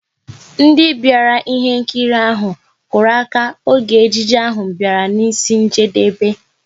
Ndị bịara ihe nkiri ahụ, kụrụ aka oge ejije ahụ bịara n'isi njedebe